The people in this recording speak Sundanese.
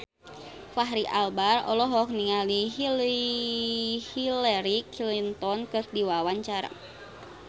Fachri Albar olohok ningali Hillary Clinton keur diwawancara